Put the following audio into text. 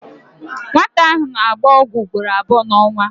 Nwata ahụ na-agba ọgwụ ugboro abụọ n'ọnwa.